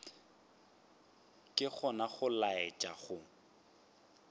ke gona go laetša go